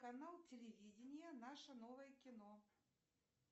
канал телевидения наше новое кино